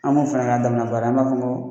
An bɛ fɛ k'a k'a dama sara ye, an b'a fɔ ko